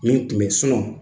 Nin kunben sinɔn